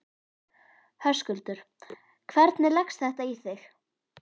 Höskuldur: Hvernig leggst þetta í þig?